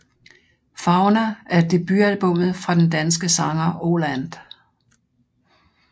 Fauna er debutalbummet fra den danske sanger Oh Land